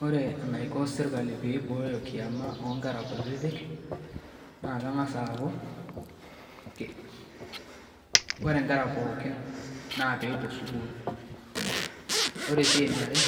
Oore enaiko serkali pee eibooyo kiama onkera kutitik, naa keng'as aaku oore inkera pooki naa peyie epuo sukuul. Oore sii eniare